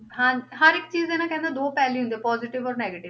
ਹਾਂਜੀ ਹਰ ਇੱਕ ਚੀਜ਼ ਦੇ ਨਾ ਕਹਿੰਦੇ ਦੋ ਪਹਿਲੂ ਹੁੰਦੇ ਆ positive ਔਰ negative